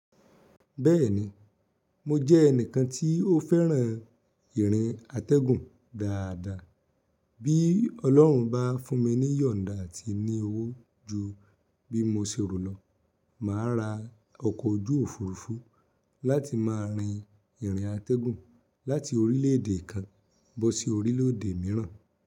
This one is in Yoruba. Bẹ́ẹ̀ni, mo jẹ́ ẹnìkan tí ó fẹ́ran ìrìn atẹ́gùn dáadáa. Bí Ọlọ́run bá fún mi níyọ̀nda àti ní owó ju bí mo ṣe rò lọ, màá ra ọkọ̀ ojú òfurufú láti má rin ìrìn atẹ́gùn láti orílẹ̀ èdè kan bọ́ sí orílẹ̀ èdè mìíràn.